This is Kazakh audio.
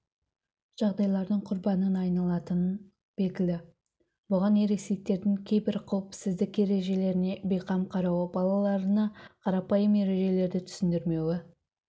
жағдайлардың құрбанына айналатын белгілі бұған ересектердің кейбір қауіпсіздік ережелеріне бейқам қарауы балаларына қарапайым ережелерді түсіндірмеуі